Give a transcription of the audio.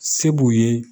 Se b'u ye